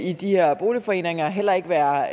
i de her boligforeninger heller ikke være